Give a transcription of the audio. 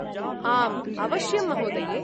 आम्, अवश्यं महोदये!